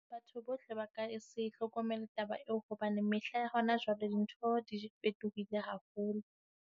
Batho bohle ba ka se hlokomele taba eo hobane mehla ya hona jwale dintho di fetohile haholo.